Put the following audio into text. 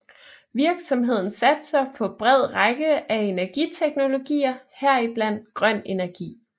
Virksomheden satser på bred række af energiteknologier heriblandt grøn energi